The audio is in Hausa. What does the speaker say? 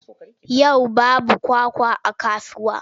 Yau babu kwakwa a kasuwa.